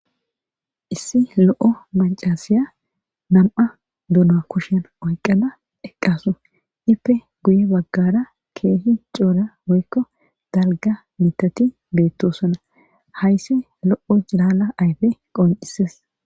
Issi lo'o maccasiya nami'a dono kushen oykkada eqqasu. Iippe guye baggara keehi cora woykko dalgga biittati beettosona. Hayssi lo'o cilala ayfe qonccises